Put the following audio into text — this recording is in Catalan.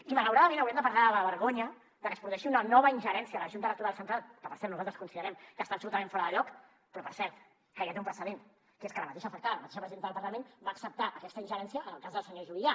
i malauradament haurem de parlar de la vergonya de que es produeixi una nova ingerència de la junta electoral central que per cert nosaltres considerem que està absolutament fora de lloc però per cert que ja té un precedent que és que la mateixa afectada la mateixa presidenta del parlament va acceptar aquesta ingerència en el cas del senyor juvillà